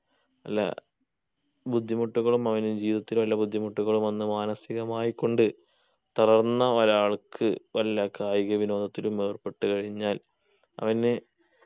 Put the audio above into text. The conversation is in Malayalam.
എല്ല ബുദ്ധിമുട്ടുകളും അവന് ജീവിതത്തിൽ വല്ല ബുദ്ധിമുട്ടകളും വന്ന് മനസികമായികൊണ്ട് തളർന്ന ഒരാൾക്ക് വല്ല കായിക വിനോദത്തിലും ഏർപ്പെട്ടു കഴിഞ്ഞാൽ അവന്ന്